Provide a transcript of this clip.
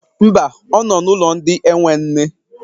Mba, ọ nọ n'ụlọ ndị enwe nne.